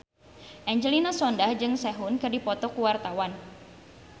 Angelina Sondakh jeung Sehun keur dipoto ku wartawan